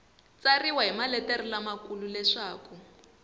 tsariwa hi maletere lamakulu leswaku